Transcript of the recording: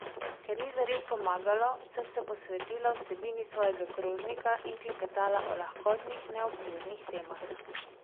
Ker ni zares pomagalo, sem se posvetila vsebini svojega krožnika in klepetala o lahkotnih, neobveznih temah.